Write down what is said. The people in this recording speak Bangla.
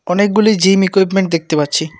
অনেকগুলি জিম ইকুইপমেন্ট দেখতে পাচ্ছি।